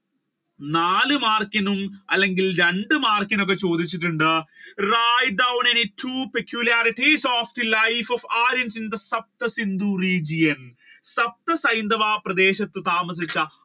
നാല് മാർക്കിനും അല്ലെങ്കിൽ രണ്ട് മാർക്കിനും ചോദിച്ചിട്ടുണ്ട് write down any two pecularities of the life of success in Hindu region? ഐന്ധവ പ്രദേശത്ത് താമസിച്ച